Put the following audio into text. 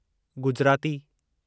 Gujarati